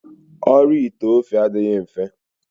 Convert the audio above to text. Ọrụ ite ofe adịghị mfe.